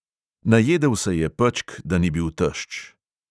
Najedel se je pečk, da ni bil tešč.